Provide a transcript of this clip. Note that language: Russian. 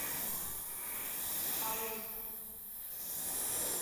аурика